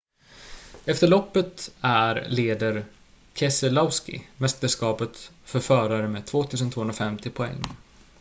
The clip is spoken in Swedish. efter loppet är leder keselowski mästerskapet för förare med 2 250 poäng